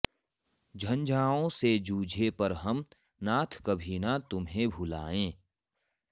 झंझाओं से जूझें पर हम नाथ कभी ना तुम्हें भुलायें